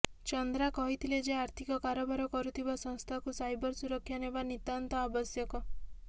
ଚନ୍ଦ୍ରା କହିଥିଲେ ଯେ ଆର୍ଥିକ କାରବାର କରୁଥିବା ସଂସ୍ଥାକୁ ସାଇବର ସୁରକ୍ଷା ନେବା ନିତାନ୍ତ ଆବଶ୍ୟକ